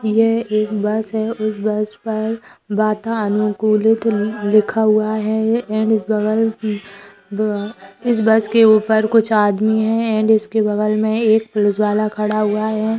यह एक बस है उस बस पर वातानुकूलित लिखा हुआ है एंड इस बगल ब इस बस के ऊपर कुछ आदमी हैं एंड इसके बगल में एक पुलिस वाला खड़ा हुआ है।